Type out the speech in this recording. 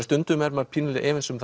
stundum er maður pínulítið efins um